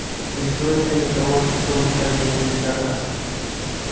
не стоят они того чтобы так для них стараться